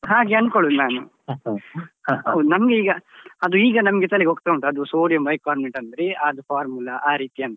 ಹಾಗೆ ಅಂದ್ಕೊಳುದ್ ನಾನು ಹೌದ್ ನಂಗೀಗ ಅದು ಈಗ ನನ್ಗೆ ತಲೆಗೆ ಹೋಗ್ತಾ ಉಂಟು ಅದು sodium bicarbonate ಅಂದ್ರೆ ಅದು formula ಆ ರೀತಿ ಅಂತ.